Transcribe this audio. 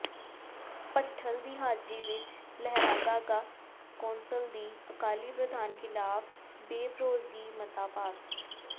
ਭੱਠਲ ਦੀ ਹਾਜ਼ਰੀ ਵਿੱਚ ਲਹਿਰਾਗਾਗਾ ਕੌਂਸਲ ਦੀ ਅਕਾਲੀ ਪ੍ਰਧਾਨ ਖ਼ਿਲਾਫ਼ ਬੇਭਰੋਸਗੀ ਮਤਾ ਪਾਸ